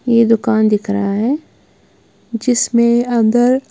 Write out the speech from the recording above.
ये दुकान दिख रहा है जिसमें अगर--